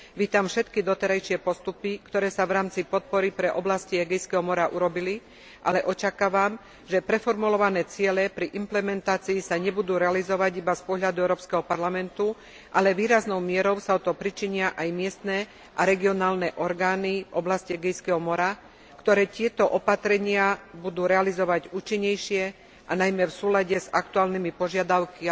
Vítam všetky doterajšie postupy, ktoré sa v rámci podpory pre oblasti Egejského mora urobili, ale očakávam, že preformulované ciele pri implementácii sa nebudú realizovať iba z pohľadu Európskeho parlamentu, ale výraznou mierou sa o to pričinia aj miestne a regionálne orgány v oblasti Egejského mora, ktoré tieto opatrenia budú realizovať účinnejšie a najmä v súlade s aktuálnymi požiadavkami